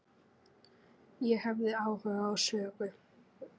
Ég hafði áhuga á sögu